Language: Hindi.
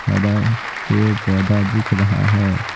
हरा पेड़ पौधा दिख रहा है।